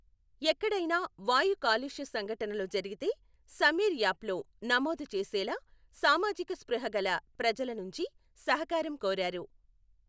ఎక్కడైనా వాయు కాలుష్య సంఘటనలు జరిగితే సమీర్ యాప్లో నమోదు చేసేలా సామాజిక స్ఫృహ గల ప్రజల నుంచి సహకారం కోరారు.